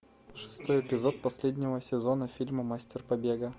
шестой эпизод последнего сезона фильма мастер побега